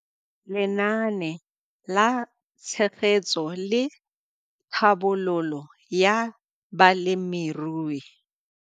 Lenaane la Tshegetso le Tlhabololo ya Balemirui.